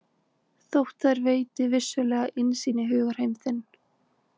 Þótt þær veiti vissulega innsýn í hugarheim þinn.